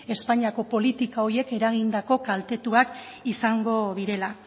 espainiako politika horiek eragindako kaltetuak izango direla